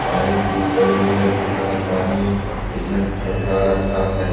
पानी उस की उस तरफ नीला दिख रहा हैं पानी एकदम फड़ - फड़ा रहा हैं।